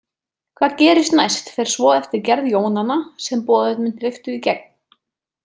Hvað gerist næst fer svo eftir gerð jónanna sem boðefnin hleyptu í gegn.